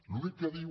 l’únic que diu